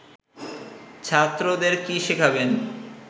ছাত্রদের কী শেখাবেন